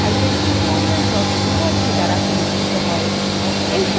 এই সম্পর্কে আরও তথ্য নিম্নলিখিত link থেকে পাওয়া যায়